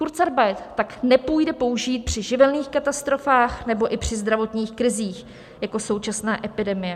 Kurzarbeit tak nepůjde použít při živelních katastrofách nebo i při zdravotních krizích jako současná epidemie.